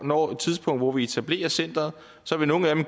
når et tidspunkt hvor vi etablerer centeret